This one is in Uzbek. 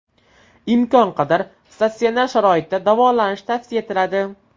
Imkon qadar statsionar sharoitda davolanish tavsiya etiladi.